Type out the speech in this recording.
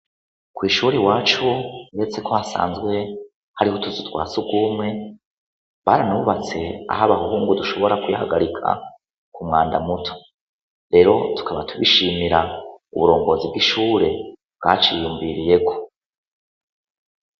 Kw'ishure iwacu uretseko hasanzwe hariho utuzu twa sugumwe, baranubatse aho abahungu dushobora kwihagarika k'umwanda muto, rero tukaba tubishimira uburongozi bw'ishure bwaciyumviriyeko.